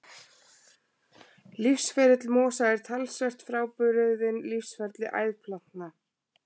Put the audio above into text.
Lífsferill mosa er talsvert frábrugðinn lífsferli æðplantna.